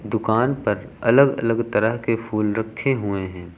दुकान पर अलग अलग तरह के फूल रखे हुए हैं।